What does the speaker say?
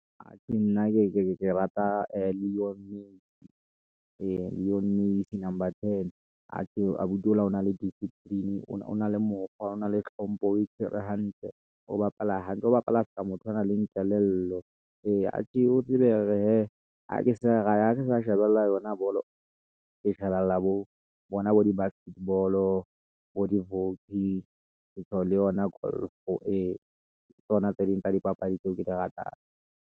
Atjhe, nna ke rata Lionel Messi number ten. Atjhe abuti o la o na le discipline o na le mokgwa, o na le hlompho, o e tshwere hantle, o bapala hantle, o bapala ska motho a nang le kelello ee, Atjhe o tsebe hore he, ha ke sa shebella yona bolo, ke shebella bo bona bo di-basket ball-o bo di-hockey, le yona golf ee, ke tsona tse ding tsa dipapadi tseo ke di ratang.